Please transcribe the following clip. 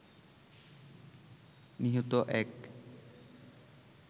নিহত এক